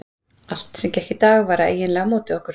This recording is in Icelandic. Allt sem gekk í dag var eiginlega á móti okkur.